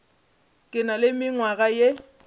ke na le mengwaga ye